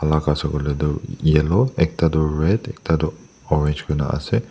lal ase koilae tu yellow ekta tu red ekta tu orange kurina ase.